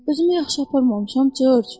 Özümü yaxşı aparmamışam, Corc.